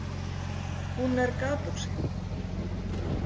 Hún er gapuxi.